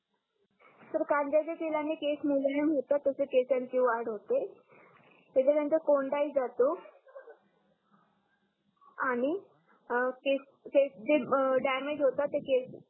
sir कांद्याच्या तेलाने केस मुलायम होतात तसेच केसांची वाढ होते त्याच्या नंतर कोंढ ही जातो आणि केस अं जे डॅमेज होतात ते केस